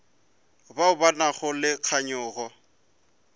bao ba nago le kganyogo